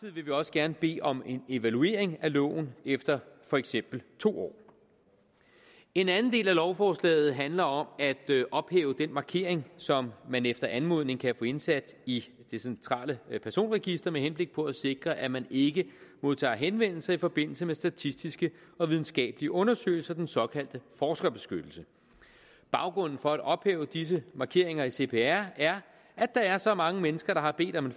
gerne bede om en evaluering af loven efter for eksempel to år en anden del af lovforslaget handler om at ophæve den markering som man efter anmodning kan få indsat i det centrale personregister med henblik på at sikre at man ikke modtager henvendelse i forbindelse med statistiske og videnskabelige undersøgelser den såkaldte forskerbeskyttelse baggrunden for at ophæve disse markeringer i cpr er at der er så mange mennesker der har bedt om en